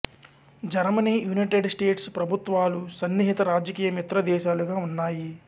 Germany United States ప్రభుత్వాలు సన్నిహిత రాజకీయ మిత్రదేశాలుగా ఉన్నాయి